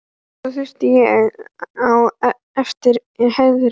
Svo þaut ég á eftir Herði.